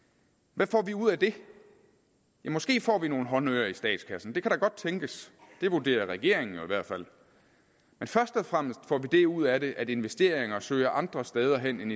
hvad får vi ud af det ja måske får vi nogle håndører i statskassen det kan da godt tænkes det vurderer regeringen jo i hvert fald men først og fremmest får vi det ud af det at investeringer søger andre steder hen end